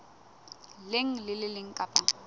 leng le le leng kapa